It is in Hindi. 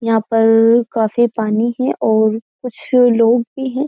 यहाँ पर् काफ़ी पानी है और कुछ लोग भी है।